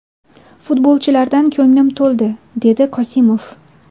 Futbolchilardan ko‘nglim to‘ldi”, − dedi Qosimov.